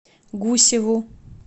гусеву